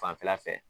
Fanfɛla fɛ